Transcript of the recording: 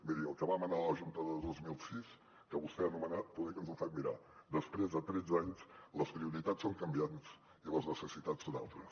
miri el que va manar a la junta del dos mil sis que vostè ha anomenat poder que ens ho fem mirar després de tretze anys les prioritats són canviants i les necessitats són altres